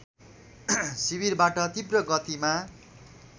शिविरवाट तीव्र गतिमा